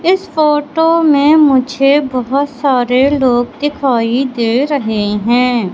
इस फोटो में मुझे बहुत सारे लोग दिखाई दे रहे हैं।